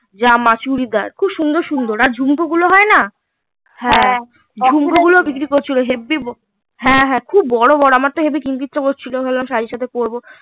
জামা চুড়িদার খুব সুন্দর সুন্দর আর ঝুমকো গুলো হয় না ঝুমকো গুলো বিক্রি করছিলো হেব্বি হ্যাঁ হ্যাঁ খুব বড়ো বড়ো আমার তো কিনতে ইচ্ছা করছিলো ভাবলাম শাড়ির সাথে পড়বো